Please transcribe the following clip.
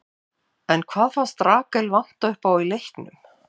En hvað fannst Rakel vanta uppá í leiknum?